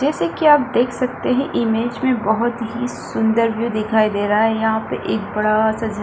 जैसे की आप देख सकते है इमेज में बहुत ही सुंदर व्यू दिखाई दे रहा है यहाँ पे एक बड़ा सा झरना --